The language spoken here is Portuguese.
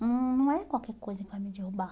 hum, Não é qualquer coisa que vai me derrubar.